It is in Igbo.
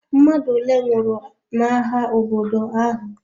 Mmadụ ole nwụrụ n'agha obodo ahụ?